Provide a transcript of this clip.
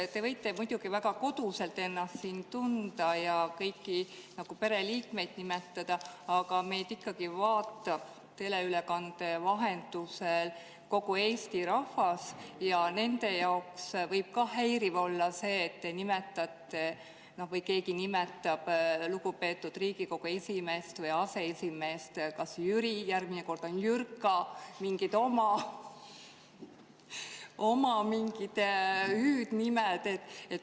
Te võite muidugi väga koduselt ennast siin tunda ja kõiki nii nagu pereliikmeid nimetada, aga meid ikkagi vaatab teleülekande vahendusel kogu Eesti rahvas ja nende jaoks võib häiriv olla see, kui teie või keegi teine nimetab lugupeetud Riigikogu aseesimeest Jüriks, järgmine kord Jürkaks või kasutab mingit oma hüüdnime.